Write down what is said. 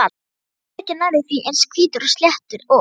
Hann er ekki nærri því eins hvítur og sléttur og